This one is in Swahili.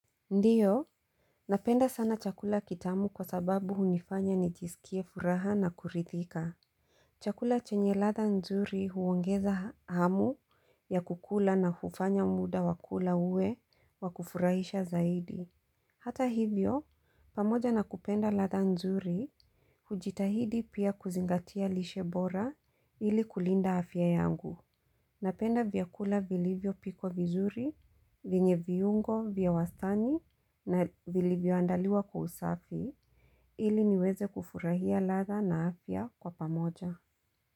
Ndiyo, napenda sana chakula kitamu kwa sababu hunifanya nijisikie furaha na kurithika. Chakula chenye ladha nzuri huongeza hamu ya kukula na hufanya muda wakula uwe wakufurahisha zaidi. Hata hivyo, pamoja na kupenda ladha nzuri, hujitahidi pia kuzingatia lishebora ili kulinda afya yangu. Napenda vyakula vilivyo pikwa vizuri, vyenye viungo, vya wastani na vilivyo andaliwa kwa usafi ili niweze kufurahia ladha na afya kwa pamoja.